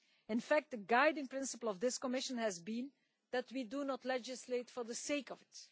In fact, the guiding principle of this Commission has been that we do not legislate for the sake of it.